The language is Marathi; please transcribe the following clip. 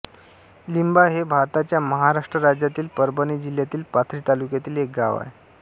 लिंबा हे भारताच्या महाराष्ट्र राज्यातील परभणी जिल्ह्यातील पाथरी तालुक्यातील एक गाव आहे